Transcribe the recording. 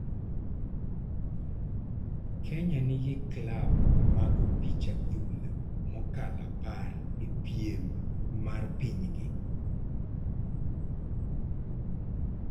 Kenya nigi klab mag opich adhula mokalo apar e piem mar pinygi.